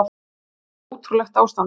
Það var alveg ótrúlegt ástand.